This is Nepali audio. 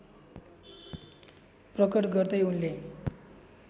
प्रकट गर्दै उनले